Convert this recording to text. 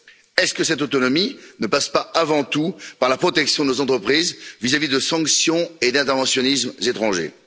Est ce que cette autonomie ne passe pas, avant tout, par la protection de nos entreprises vis à vis de sanctions et d'interventionnismes étrangers?